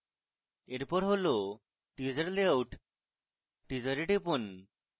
এরপর হল teaser layout teaser এ টিপুন